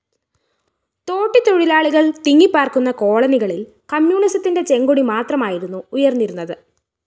തോട്ടിത്തൊഴിലാളികള്‍ തിങ്ങിപ്പാര്‍ക്കുന്ന കോളനികളില്‍ കമ്മ്യൂണിസത്തിന്റെ ചെങ്കൊടി മാത്രമായിരുന്നു ഉയര്‍ന്നിരുന്നത്